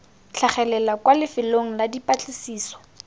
tlhagelela kwa lefelong la dipatlisiso